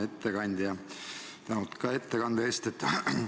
Hea ettekandja, tänud ka ettekande eest!